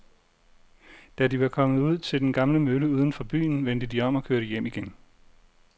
Da de var kommet ud til den gamle mølle uden for byen, vendte de om og kørte hjem igen.